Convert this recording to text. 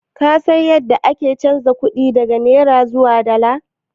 Ka san yadda ake chanza kuɗi daga naira zuwa dala?